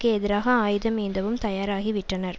எதிராக ஆயுதம் ஏந்தவும் தயாராகிவிட்டனர்